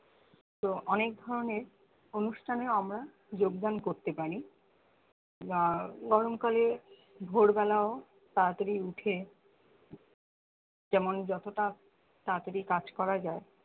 তো অনেক ধরণের অনুষ্ঠানেও আমরা যোগদান করতে পারি বা গরমকালে ভোরবেলাও তাড়াতাড়ি উঠার যেমন যতটা তাড়াতাড়ি কাজ করা যায়